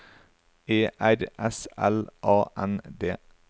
E R S L A N D